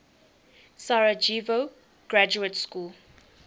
sarajevo graduate school